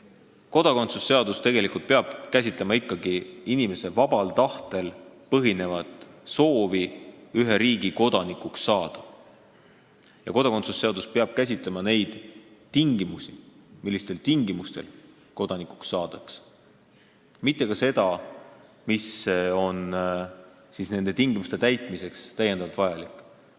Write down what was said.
Kodakondsuse seadus peab ikkagi käsitlema inimese vabal tahtel põhinevat soovi ühe riigi kodanikuks saada ja neid tingimusi, kuidas kodanikuks saadakse, mitte seda, mis on nende tingimuste täitmiseks täiendavalt vajalik.